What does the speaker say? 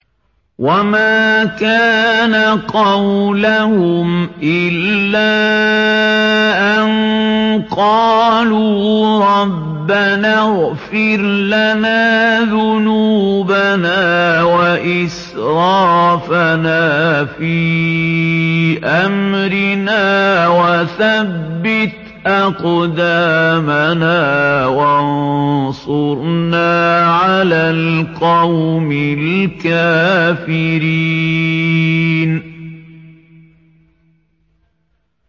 وَمَا كَانَ قَوْلَهُمْ إِلَّا أَن قَالُوا رَبَّنَا اغْفِرْ لَنَا ذُنُوبَنَا وَإِسْرَافَنَا فِي أَمْرِنَا وَثَبِّتْ أَقْدَامَنَا وَانصُرْنَا عَلَى الْقَوْمِ الْكَافِرِينَ